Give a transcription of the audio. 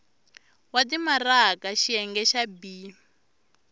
wa timaraka xiyenge xa b